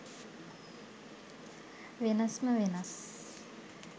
වෙනස්ම වෙනස්.